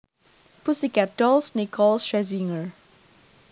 Pussycat Dolls Nicole Scherzinger